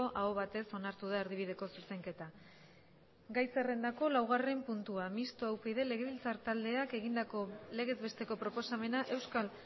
aho batez onartu da erdibideko zuzenketa gai zerrendako laugarren puntua mistoa upyd legebiltzar taldeak egindako legez besteko proposamena euskal